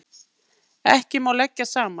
Ekki má leggja saman.